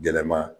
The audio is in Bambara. Gɛlɛma